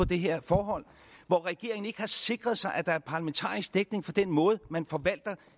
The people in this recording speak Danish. det her forhold hvor regeringen ikke har sikret sig at der er parlamentarisk dækning for den måde man forvalter